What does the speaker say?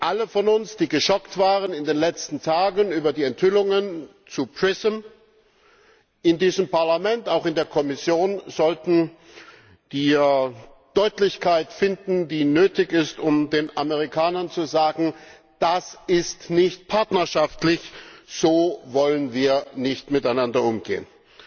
Alle von uns, die in den letzten Tagen geschockt waren über die Enthüllungen zu PRISM, in diesem Parlament, auch in der Kommission, sollten die Deutlichkeit finden, die nötig ist, um den Amerikanern zu sagen Das ist nicht partnerschaftlich, so wollen wir nicht miteinander umgehen!